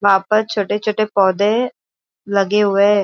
वहां पर छोटे छोटे पौधे लगे हुए है।